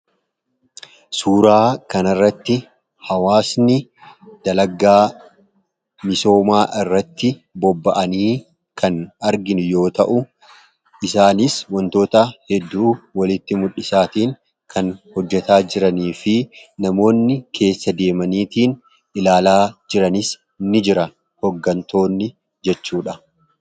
suuraa kanirratti hawaasni dalagaa misoomaa irratti bobba'anii kan arginu yoo ta'u isaanis wantoota hedduu walitti muldhisaatiin kan hojjetaa jiranii fi namoonni keessa deemaniitiin ilaalaa jiranis ni jira hoggantoonni jechuudha.